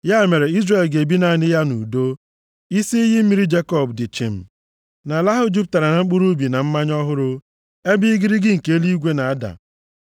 Ya mere Izrel ga-ebi naanị ya nʼudo, isi iyi mmiri Jekọb dị chịm, nʼala ahụ jupụtara na mkpụrụ ubi na mmanya ọhụrụ ebe igirigi nke eluigwe na-ada.